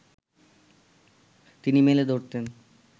তিনি মেলে ধরতেন